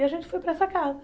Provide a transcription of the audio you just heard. E a gente foi para essa casa.